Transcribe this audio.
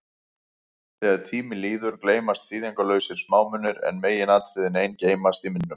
Þegar tími líður, gleymast þýðingarlausir smámunir, en meginatriðin ein geymast í minnum.